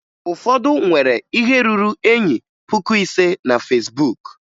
Ụfọdụ nwere ihe ruru enyi puku ise na Fesbuk